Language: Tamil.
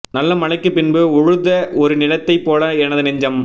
நல்ல மழைக்குப் பின்பு உழுத ஒரு நிலத்தைப் போல எனது நெஞ்சம்